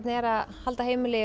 er að halda heimili